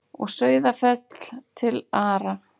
Og Sauðafell til Ara.